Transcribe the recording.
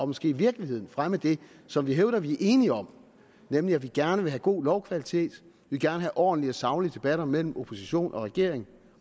måske i virkeligheden fremme det som vi hævder at vi er enige om nemlig at vi gerne vil have god lovkvalitet at vi gerne ordentlige og saglige debatter mellem opposition og regering